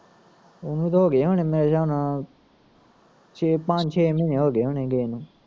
ਉਹਨੂੰ ਤਾਂ ਹੋਗੇ ਹੋਣੇ ਮੇਰੇ ਹਿਸਾਬ ਨਾਲ਼ ਛੇ ਪੰਜ ਛੇ ਮਹੀਨੇ ਹੋਗੇ ਹੋਣੇ ਗਏ ਨੂੰ